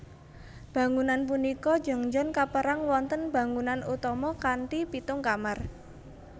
Bangunan punika Jeongjeon kaperang wonten bangunan utama kanthi pitung kamar